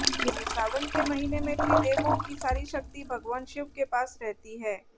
यानी सावन के महीने में त्रिदेवों की सारी शक्ति भगवान शिव के पास रहती है